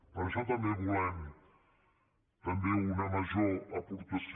per això també volem també una major aportació